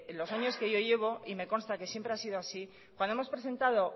los años que yo llevo y me consta que siempre ha sido así cuando hemos presentado